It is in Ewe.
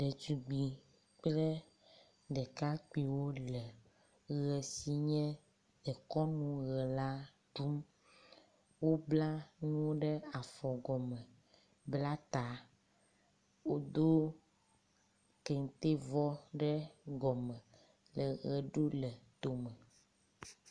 Ɖetugbi kple ɖekakpuiwo le ʋe si nye dekɔnu ʋe la ɖum. Wobla nuwo ɖe afɔ gɔme bla ta, wodo kente vɔ ɖe gɔma le ʋe ɖum le tome.